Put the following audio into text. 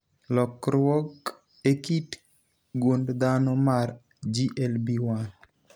lokruok e kit gund dhano mar GLB1